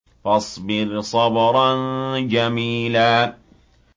فَاصْبِرْ صَبْرًا جَمِيلًا